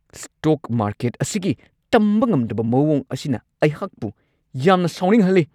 Stock market ꯑꯁꯤꯒꯤ ꯇꯝꯕ ꯉꯝꯗꯕ ꯃꯋꯣꯡ ꯑꯁꯤꯅ ꯑꯩꯍꯥꯛꯄꯨ ꯌꯥꯝꯅ ꯁꯥꯎꯅꯤꯡꯍꯜꯂꯤ ꯫